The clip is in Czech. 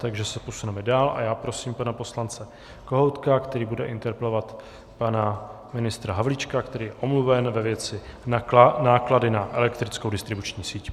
Takže se posuneme dál a já prosím pana poslance Kohoutka, který bude interpelovat pana ministra Havlíčka, který je omluven, ve věci náklady na elektrickou distribuční síť.